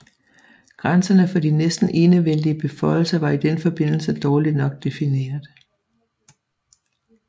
Grænserne for de næsten enevældige beføjelser var i den forbindelse dårligt nok defineret